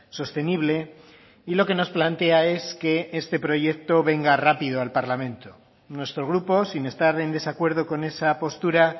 sostenible y lo que nos plantea es que este proyecto venga rápido al parlamento nuestro grupo sin estar en desacuerdo con esa postura